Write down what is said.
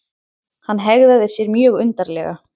Hann hegðaði sér mjög undarlega.